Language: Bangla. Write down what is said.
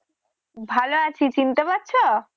ভালো আছি। চিনতে পারছ?